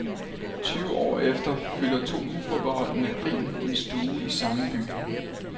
Tyve år efter fylder to uforbeholdne grin en stue i samme by.